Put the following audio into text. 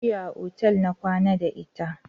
Jiya a otal na kwana da ita.